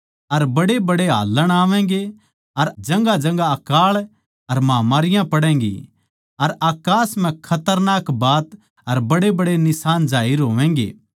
अर बड्डेबड्डे हाल्लण आवैगें अर जगहांजगहां अकाळ अर महामारियाँ पड़ैंगी अर अकास म्ह खतरनाक बात अर बड्डेबड्डे निशान जाहिर होवैगें